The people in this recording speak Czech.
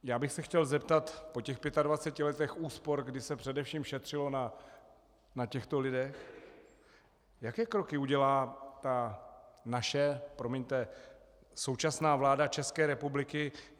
Já bych se chtěl zeptat po těch 25 letech úspor, kdy se především šetřilo na těchto lidech, jaké kroky udělá ta naše - promiňte - současná vláda České republiky.